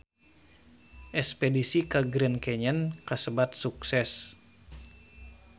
Espedisi ka Grand Canyon kasebat sukses